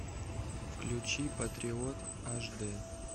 включи патриот аш д